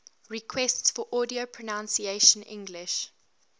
requests for audio pronunciation english